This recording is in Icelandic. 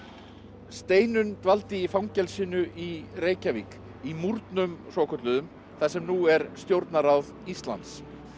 Steinunn dvaldi í fangelsinu í Reykjavík í múrnum svokölluðum þar sem nú er Stjórnarráð Íslands